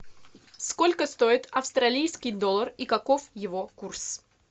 сколько стоит австралийский доллар и каков его курс